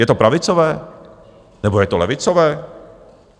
Je to pravicové, nebo je to levicové?